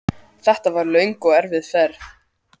Hvað var eiginlega á seyði hér?